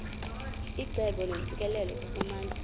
icebo neentsikelelo kusomandla